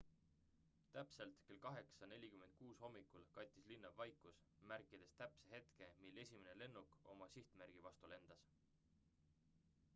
täpselt kell 8.46 hommikul kattis linna vaikus märkides täpse hetke mil esimene lennuk oma sihtmärgi vastu lendas